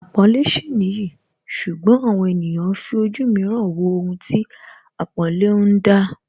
Àpọ́nlé sì nìyí ṣùgbọ́n àwọn ènìyàn ń fi ojú mìíràn wo ohun tí àpọ́nlé ń dá